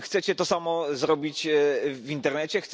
Chcecie to samo zrobić w internecie?